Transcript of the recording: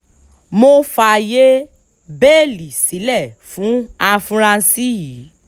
mo fààyè bẹ́ẹ́lí sílẹ̀ fún àfúráṣí yìí